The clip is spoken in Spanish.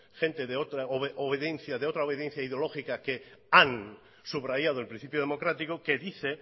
gente de otra obediencia ideológica que han subrayado el principio democrático que dice